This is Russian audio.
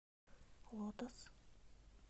лотос